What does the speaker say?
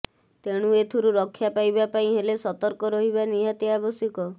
ତେଣୁ ଏଥିରୁ ରକ୍ଷା ପାଇବା ପାଇଁ ହେଲେ ସତର୍କ ରହିବା ନିହାତି ଆବଶ୍ୟକ